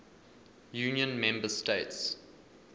union member states